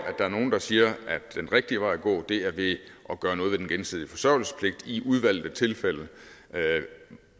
der er nogen der siger at den rigtige vej at gå er ved at gøre noget ved den gensidige forsørgelsespligt i udvalgte tilfælde